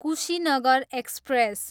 Kushinagar express